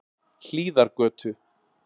Hlíðargötu